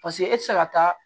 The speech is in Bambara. Paseke e tɛ se ka taa